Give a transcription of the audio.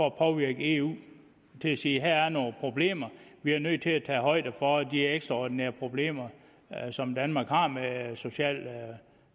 at påvirke eu til at sige her er nogle problemer vi er nødt til at tage højde for de ekstraordinære problemer som danmark har med social